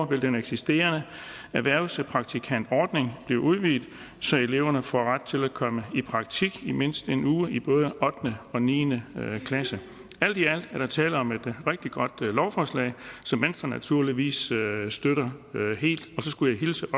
vil den eksisterende erhvervspraktikantordning blive udvidet så eleverne får ret til at komme i praktik i mindst en uge i både ottende og niende klasse alt i alt er der tale om et rigtig godt lovforslag som venstre naturligvis støtter helt og så skulle jeg hilse